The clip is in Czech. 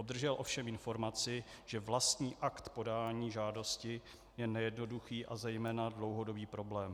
Obdržel ovšem informaci, že vlastní akt podání žádosti je nejednoduchý a zejména dlouhodobý problém.